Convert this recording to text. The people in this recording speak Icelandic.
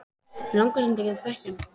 Mig langar samt að þekkja hann